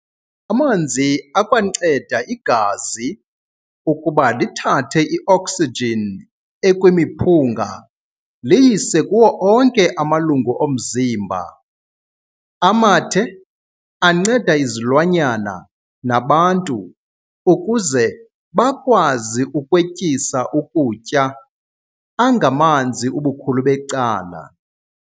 Amanzi akwanceda igazi ukuba lithathe i-oksijin ekwimiphunga liyise kuwo onke amalungu omzimba. Amathe, anceda izilwanyana nabantu ukuze bakwazi ukwetyisa ukutya, angamanzi ubukhulu becala.